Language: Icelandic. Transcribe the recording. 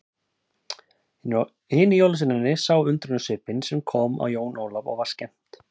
Hinir jólasveinarnir sáu undrunarsvipinn sem kom á Jón Ólaf og var skemmt.